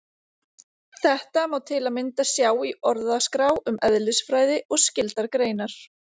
Þetta má til að mynda sjá í Orðaskrá um eðlisfræði og skyldar greinar.